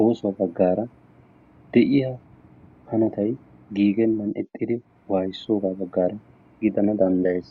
oosuwa baggaara de'iyaa hanotay giiggenaan ixxiddi waayissoogaa baggaara gidana danddayees.